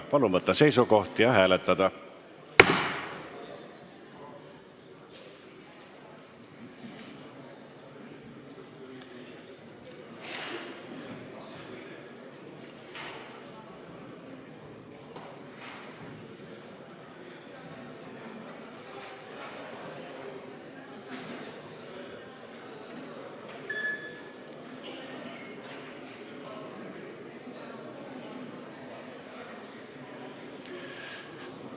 Palun võtta seisukoht ja hääletada!